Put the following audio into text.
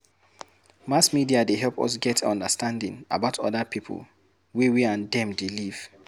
Mass media dey help us get understanding about oda people wey we and them dey live